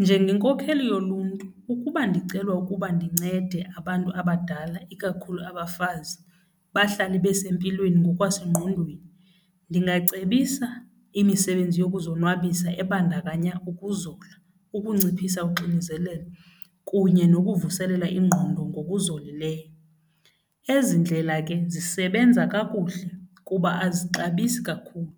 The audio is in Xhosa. Njengenkokheli yoluntu ukuba ndicelwa ukuba ndincede abantu abadala, ikakhulu abafazi bahlale besempilweni ngokwasengqondweni, ndingacebisa imisebenzi yokuzonwabisa ebandakanya ukuzola, ukunciphisa kudala uxinzelelo kunye nokuvuselela ingqondo ngokuzolileyo. Ezi ndlela ke zisebenza kakuhle kuba azixabisi kakhulu,